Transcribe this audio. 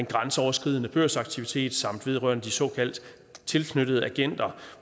grænseoverskridende børsaktivitet samt noget vedrørende de såkaldt tilknyttede agenter